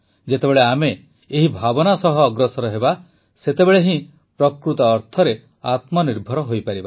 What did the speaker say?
ଯେତେବେଳେ ଆମେ ଏହି ଭାବନା ସହ ଅଗ୍ରସର ହେବା ସେତେବେଳେ ହିଁ ପ୍ରକୃତ ଅର୍ଥରେ ଆତ୍ମନିର୍ଭର ହୋଇପାରିବା